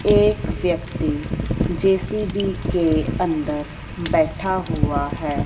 एक व्यक्ति जे_सी_बी के अंदर बैठा हुआ है।